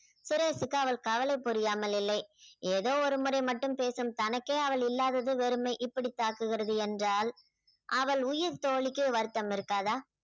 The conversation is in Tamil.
சுரேஷுக்கு அவள் கவலை புரியாமல் இல்லை ஏதோ ஒருமுறை மட்டும் பேசும் தனக்கே அவள் இல்லாதது வெறுமை இப்படி தாக்குகிறது என்றால் அவள் உயிர் தோழிக்கு வருத்தம் இருக்காதா